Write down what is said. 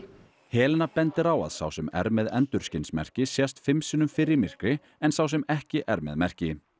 Helena bendir á að sá sem er með endurskinsmerki sjáist fimm sinnum fyrr í myrkri en sá sem ekki er með merki